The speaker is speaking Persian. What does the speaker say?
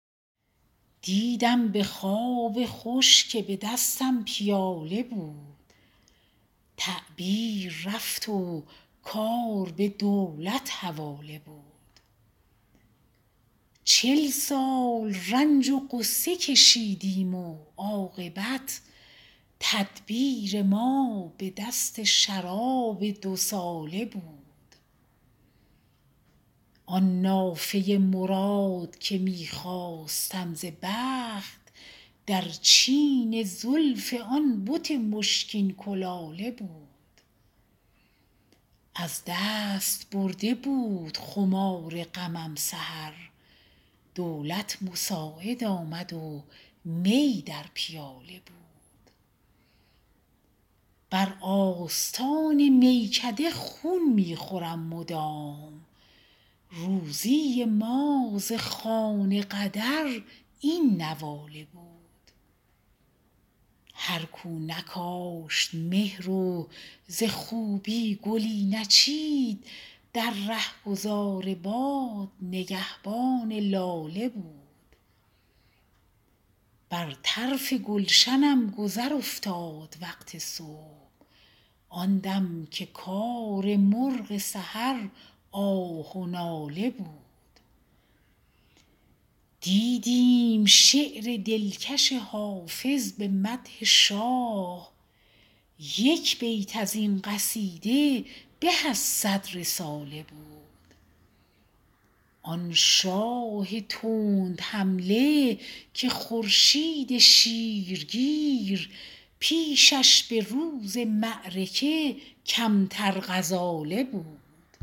دیدم به خواب خوش که به دستم پیاله بود تعبیر رفت و کار به دولت حواله بود چل سال رنج و غصه کشیدیم و عاقبت تدبیر ما به دست شراب دوساله بود آن نافه مراد که می خواستم ز بخت در چین زلف آن بت مشکین کلاله بود از دست برده بود خمار غمم سحر دولت مساعد آمد و می در پیاله بود بر آستان میکده خون می خورم مدام روزی ما ز خوان قدر این نواله بود هر کو نکاشت مهر و ز خوبی گلی نچید در رهگذار باد نگهبان لاله بود بر طرف گلشنم گذر افتاد وقت صبح آن دم که کار مرغ سحر آه و ناله بود دیدیم شعر دلکش حافظ به مدح شاه یک بیت از این قصیده به از صد رساله بود آن شاه تندحمله که خورشید شیرگیر پیشش به روز معرکه کمتر غزاله بود